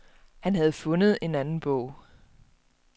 Han havde fundet en anden bog.